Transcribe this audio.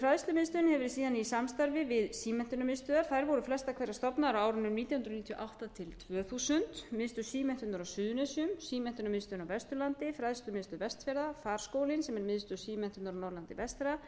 fræðslumiðstöðin hefur síðan verið i samstarfi við símenntunarmiðstöðvar þær voru flestar hverjar stofnaðar á árunum nítján hundruð níutíu og átta til tvö þúsund miðstöð símenntunar á suðurnesjum símenntunarmiðstöðin á vesturlandi fræðslumiðstöð vestfjarða farskólinn sem er miðstöð símenntunar á norðurlandi vestra